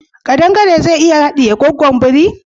Kadan gare zai iya haɗiye gwaggon biri?